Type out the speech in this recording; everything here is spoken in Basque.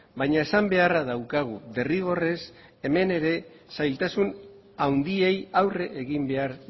baina esan beharra daukagu derrigorrez hemen ere zailtasun handiei aurre egin behar